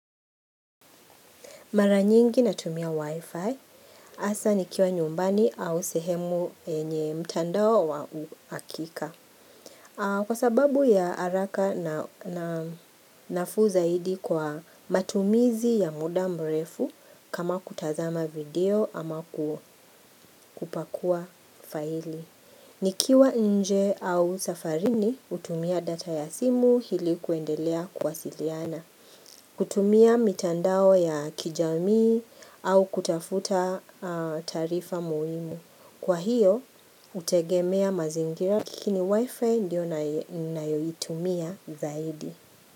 Maranyingi natumia wifi, hasa nikiwa nyumbani au sehemu yenye mtandao wa uhakika. Kwa sababu ya haraka na nafu zaidi kwa matumizi ya muda mrefu kama kutazama video ama kupakua faili. Nikiwa nje au safarini hutumia data ya simu hili kuendelea kuwasiliana. Kutumia mitandao ya kijamii au kutafuta taarifa muhimu. Kwa hiyo, utegemea mazingira laikini wifi ndiyo nayoitumia zaidi.